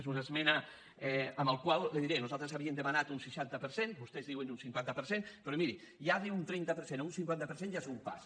és una esmena en la qual li diré nosaltres havíem de·manat un seixanta per cent vostès diuen un cinquanta per cent pe·rò miri d’un trenta per cent a un cinquanta per cent ja és un pas